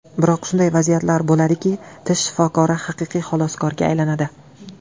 Biroq shunday vaziyatlar bo‘ladiki, tish shifokori haqiqiy xaloskorga aylanadi.